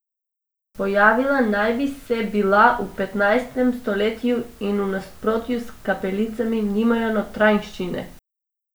Pojavila naj bi se bila v petnajstem stoletju in v nasprotju s kapelicami nimajo notranjščine.